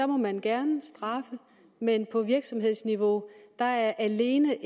må man gerne straffe men på virksomhedsniveau er alene